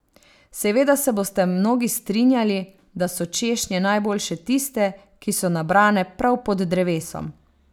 Seveda se boste mnogi strinjali, da so češnje najboljše tiste, ki so nabrane prav pod drevesom.